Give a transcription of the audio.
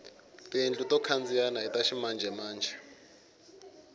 tiyindlu to khandziyana ita ximanjemanje